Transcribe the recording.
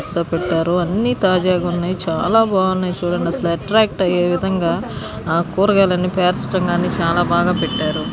వరుసగా పెట్టారు. అన్ని తాజాగా ఉన్నాయ్. చాలా బాగున్నాయి చుడండి అసలు అట్ట్రాక్ట్ ఐయే విధంగా ఆ కూరగాయలు అన్ని పేర్చడం కానీ చాలా బాగా పెట్టారు.